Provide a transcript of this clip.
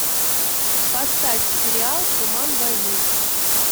поставь сериал туман войны